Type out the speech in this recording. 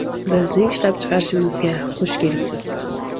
Bizning ishlab chiqarishimizga xush kelibsiz!